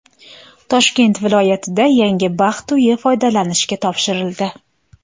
Toshkent viloyatida yangi baxt uyi foydalanishga topshirildi.